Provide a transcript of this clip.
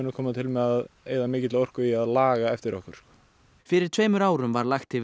koma til með að eyða mikilli orku í að laga eftir okkur fyrir tveimur árum var lagt yfir